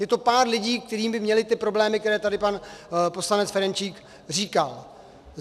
Je to pár lidí, kteří by měli ty problémy, které tady pan poslanec Ferjenčík říkal.